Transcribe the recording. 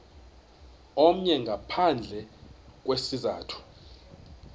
omnye ngaphandle kwesizathu